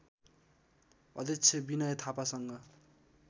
अध्यक्ष विनय थापासँग